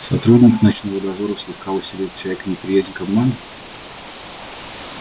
сотрудник ночного дозора слегка усилил в человеке неприязнь к обману